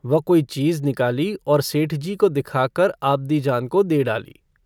वह कोई चीज़ निकाली और सेठजी को दिखाकर आबदीजान को दे डाली।